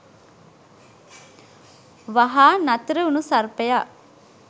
වහා නතරවුණු සර්පයා